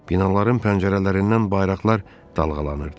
Binaların pəncərələrindən bayraqlar dalğalanırdı.